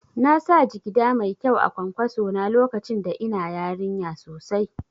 Nasa jigida mai kyau a kwankwaso na lokacin da ina yarinya sosai